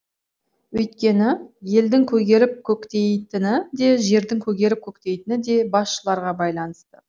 өйткені елдің көгеріп көктейтіні де жердің көгеріп көктейтіні де басшыларға байланысты